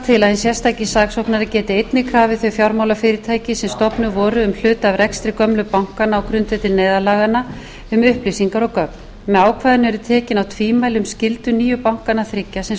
sérstaki saksóknari geti einnig krafið þau fjármálafyrirtæki sem stofnuð voru um hluta af rekstri gömlu bankanna á grundvelli neyðarlaganna um upplýsingar og gögn með ákvæðinu eru tekin af tvímæli um skyldu nýju bankanna þriggja sem